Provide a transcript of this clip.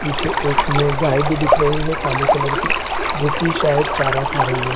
पीछे एक में गाए भी दिख रही है काले कलर की जो कि शायद चारा खा रही है |